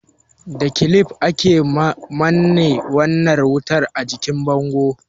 Da kilif, ake manne wayar wuta a jikin bango.